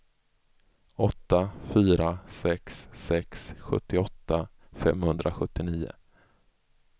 åtta fyra sex sex sjuttioåtta femhundrasjuttionio